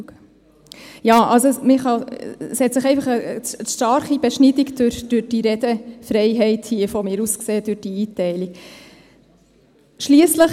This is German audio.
Ja, es hat sich eine starke Beschneidung durch die Redefreiheit, durch diese Einteilung, gezeigt.